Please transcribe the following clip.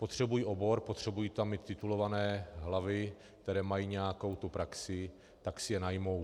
Potřebují obor, potřebují tam mít titulované hlavy, které mají nějakou tu praxi, tak si je najmou.